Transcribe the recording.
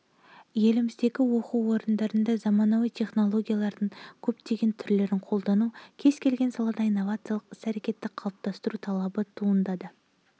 еліміздегі оқу орындарында заманауи технологиялардың көптеген түрлерін қолдану кез-келген салада инновциялық іс-әрекетті қалыптастыру талабы туындады